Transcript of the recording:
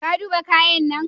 Ka duba kayan nan?